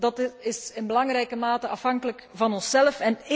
Dat is in belangrijke mate afhankelijk van onszelf.